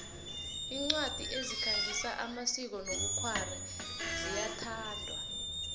incwadi ezikhangisa amasiko nobkhwari ziyathandwa